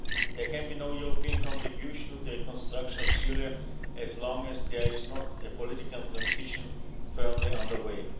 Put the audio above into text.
There can be no European contribution to the reconstruction of Syria so long as there is not a political transition firmly on the way.